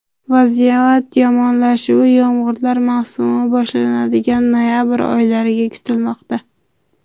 Vaziyat yomonlashuvi yomg‘irlar mavsumi boshlanadigan noyabr o‘rtalariga kutilmoqda.